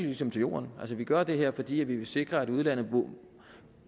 ligesom til jorden vi gør det her fordi vi vil sikre at udlandet